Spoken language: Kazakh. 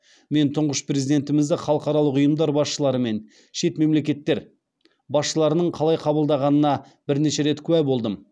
мен тұңғыш президентімізді халықаралық ұйымдар басшылары мен шет мемлекеттер басшыларының қалай қабылдағанына бірнеше рет куә болдым